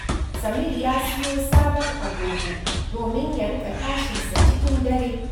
Samir ya siyo sabon agogo domin ya riƙa tashin sa cikin dare